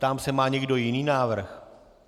Ptám se: má někdo jiný návrh?